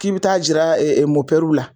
K'i bi taa jira la.